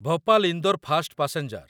Bhopal Indore fast passenger